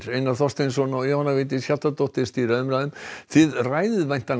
Einar Þorsteinsson og Jóhanna Vigdís Hjaltadóttir stýra umræðum þið ræðið væntanlega